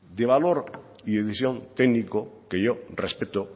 de valor y técnico que yo respeto